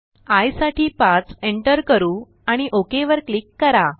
I साठी 5 enter करू आणि ओक वर क्लिक करा